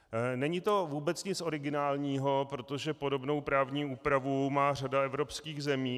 Není to vůbec nic originálního, protože podobnou právní úpravu má řada evropských zemí.